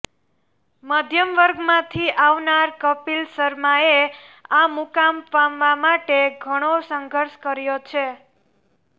મધ્યમ વર્ગમાંથી આવનાર કપિલ શર્માએ આ મુકામ પામવા માટે ઘણો સંઘર્ષ કર્યો છે